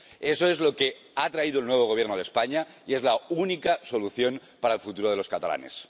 Eso es lo que ha traído el nuevo Gobierno de España y es la única solución para el futuro de los catalanes.